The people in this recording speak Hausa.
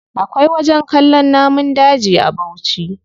Akwai wajen kallon namun daji a bauchi.